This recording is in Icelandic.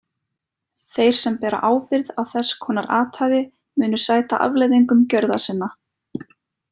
Þeir sem bera ábyrgð á þess konar athæfi munu sæta afleiðingum gjörða sinna.